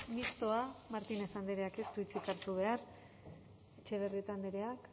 mistoa martínez andreak ez du hitzik hartu behar etxebarrieta andreak